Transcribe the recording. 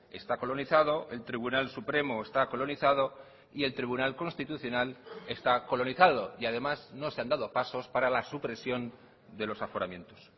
está colonizado el tribunal supremo está colonizado y el tribunal constitucional está colonizado y además no se han dado pasos para la supresión de los aforamientos